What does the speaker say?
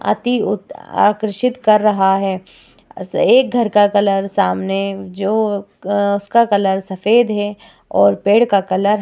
आती उत आकर्षित कर रहा है। एक घर का कलर सामने जो अ उसका कलर सफ़ेद है और पेड़ का कलर --